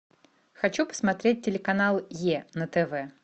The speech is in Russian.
хочу посмотреть телеканал е на тв